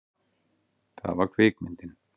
Það var kvikmyndin